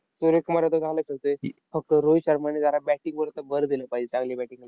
सूर्य कुमार यादव . फक्त रोहित शर्माने जरा batting वर आता भर दिला पाहिजे चांगली batting .